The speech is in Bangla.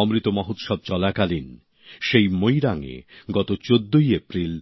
অমৃত মহোৎসব চলাকালীন সেই মোইরাংএ গত ১৪ই এপ্রিল